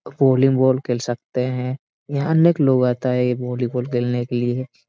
वालिंगबॉल खेल सकते हैं यहां अनेक लोग आता है यह वालीबॉल खेलने के लिए।